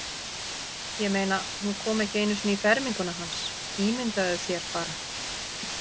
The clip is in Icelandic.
Ég meina, hún kom ekki einu sinni í ferminguna hans, ímyndaðu þér bara.